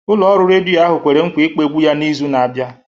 Ụlọ ọrụ redio ahụ kwere nkwa ịkpọ egwu ya n'izu na-abịa